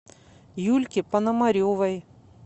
юльке пономаревой